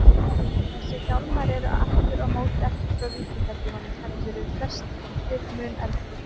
Þessir hjálmar eru aftur á móti ekki frá víkingatímanum, heldur eru flestir mun eldri.